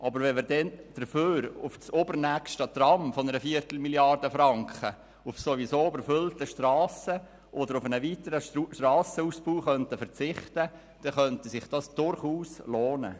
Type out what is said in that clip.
Aber wenn wir dafür auf das übernächste Tram von einer Viertelmilliarde Franken auf ohnehin überfüllten Strassen oder auf einen weiteren Strassenausbau verzichten würden, könnte sich das durchaus lohnen.